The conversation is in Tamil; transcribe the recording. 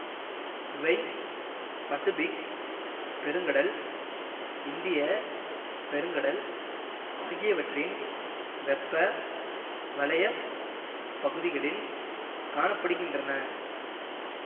இவை பசிபிக் பெருங்கடல் இந்திய பெருங்கடல் ஆகியவற்றின் வெப்ப வலயப் பகுதிகளில் காண படுகின்றன